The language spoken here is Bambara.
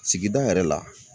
Sigida yɛrɛ la